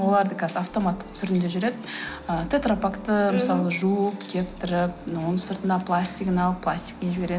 олар да қазір автоматтық түрінде жүреді ы тетропакты мысалы жуып кептіріп оның сыртынан пластигін алып пластикпен жібереді